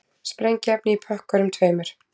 Sprengiefni í pökkunum tveimur